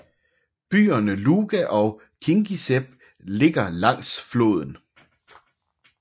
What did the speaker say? Byerne Luga og Kingisepp ligger langs floden